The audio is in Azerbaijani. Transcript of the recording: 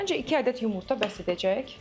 Məncə iki ədəd yumurta bəs edəcək.